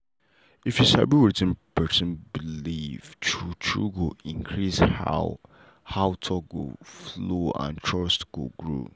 if you sabi wetin person believe true true go increase how how talk go flow and trust go grow.